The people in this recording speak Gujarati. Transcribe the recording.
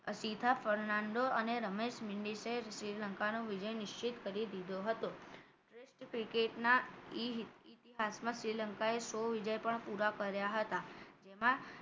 અસીતા ફરાંડો અને રમેશ મીંડીએ શ્રીલંકા નો વિજય નિશ્ચિત કરી દીધો હતો પશ્ચિમ cricket ના ઇતિહાસમાં શ્રીલંકાએ સો વિજય પણ પુરા કર્યા હતા જેમાં